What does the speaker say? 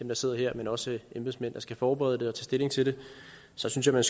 der sidder her men også embedsmænd der skal forberede dem og stilling til det så synes jeg